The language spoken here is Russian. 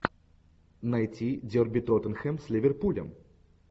найти дерби тоттенхэм с ливерпулем